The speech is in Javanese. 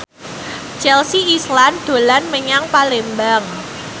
Chelsea Islan dolan menyang Palembang